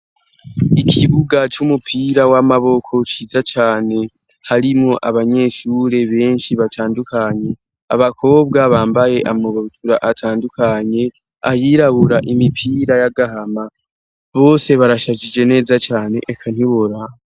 Ikibuga c'umupira w'amaboko ciza cane harimwo abanyeshure benshi batandukanye, abakobwa bambaye amabutura atandukanye, ayirabura, imipira y'agahama, bose barashajije neza cane eka ntiworaba.